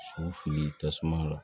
Sow fili tasuma la